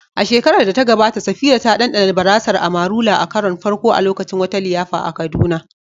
A shekarar da ta gabata, Safira ta ɗanɗana barasar "Amarula" a karon farko a lokacin wata liyafa a Kaduna.